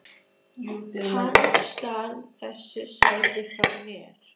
Hann stal þessu sæti frá mér!